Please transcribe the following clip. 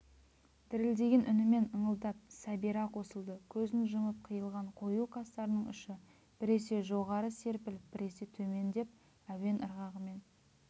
дірілдеген үнімен ыңылдап сәбира қосылды көзін жұмып қиылған қою қастарының ұшы біресе жоғары серпіліп біресе төмендеп әуен ырғағымен